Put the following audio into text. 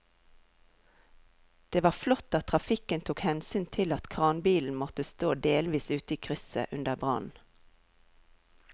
Det var flott at trafikken tok hensyn til at kranbilen måtte stå delvis ute i krysset under brannen.